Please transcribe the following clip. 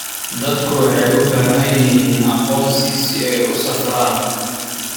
Dadku waxay u baahan yihiin aqoonsi si ay u safraan.